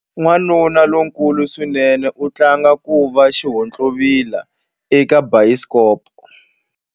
Wanuna lonkulu swinene u tlanga ku va xihontlovila eka bayisikopo.